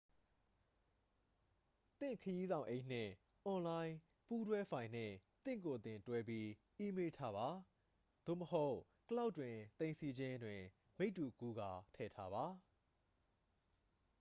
"သင့်ခရီးဆောင်အိတ်နှင့် အွန်လိုင်း ပူးတွဲဖိုင်နှင့် သင့်ကိုယ်သင့် တွဲပြီးအီးမေးလ်ထားပါ သို့မဟုတ် "ကလောက်ဒ်" တွင် သိမ်းဆည်းခြင်း တွင် မိတ္တူကူးကာထည့်ထားပါ။